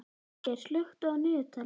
Vilgeir, slökktu á niðurteljaranum.